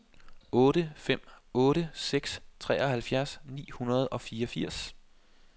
otte fem otte seks treoghalvfjerds ni hundrede og fireogfirs